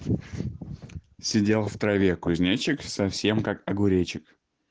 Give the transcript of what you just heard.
сидел в траве кузнечик совсем как огуречик